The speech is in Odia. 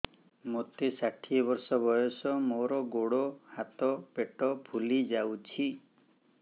ମୋତେ ଷାଠିଏ ବର୍ଷ ବୟସ ମୋର ଗୋଡୋ ହାତ ପେଟ ଫୁଲି ଯାଉଛି